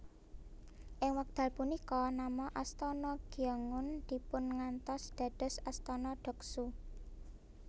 Ing wekdal punika nama Astana Gyeongun dipungantos dados Astana Deoksu